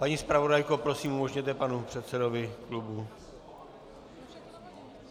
Paní zpravodajko, prosím, umožněte panu předsedovi klubu...